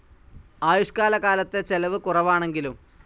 ആയുഷ്കാല കാലത്തെ ചെലവ് കുറവാണെങ്കിലും.